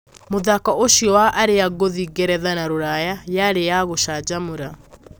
Mũthako ũcio wa arĩa ngũthi Ngeretha na Ruraya yari ya gũcanjamũra.